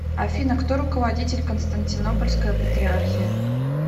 афина кто руководитель константинопольская патриархия